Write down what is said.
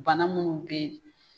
Bana minnu bɛ yen